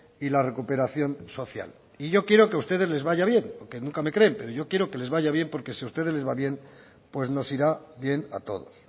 y la recuperación social y yo quiero que a ustedes les vaya bien porque nunca me creen pero yo quiero que les vaya bien porque si a ustedes les va bien pues nos irá bien a todos